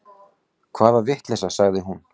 Hvaða vitleysa, sagði hún.